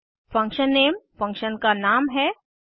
function name function का नाम है